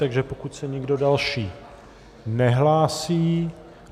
Takže pokud se nikdo další nehlásí...